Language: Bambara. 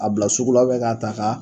A bila sugula k'a ta k'a